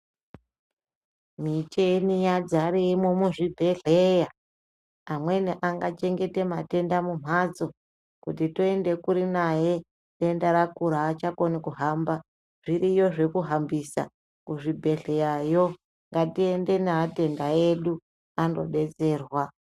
Micheni yazaremo muzvibhehlera, amweni angachengeta matenda mumhatso kuti toende kuri naye denda rakura achakoni kuhamba, zviriyo zvekuhambisa kuzvibhehleyayo ,ngatiende neatenda edu anodetserwa.